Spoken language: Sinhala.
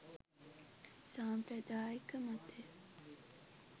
සාම්ප්‍රදායික මතය